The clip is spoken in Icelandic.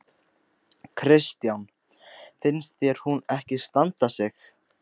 Kristján: Finnst þér hún ekki standa sig?